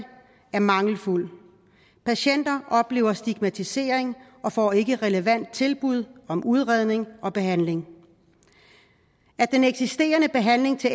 er mangelfuld patienter oplever stigmatisering og får ikke relevant tilbud om udredning og behandling den eksisterende behandling til